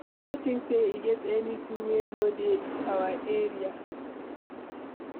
I no think say e get anything wey no dey our area